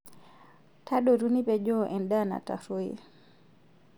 Tadotu nipejoo endaa natarruoyie.